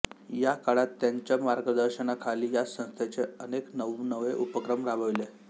या काळात त्यांच्या मार्गदर्शनाखाली या संस्थेने अनेक नवनवे उपक्रम राबविले